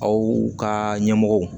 Aw ka ɲɛmɔgɔw